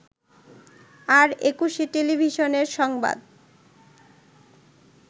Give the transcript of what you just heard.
আর একুশে টেলিভিশনের সংবাদ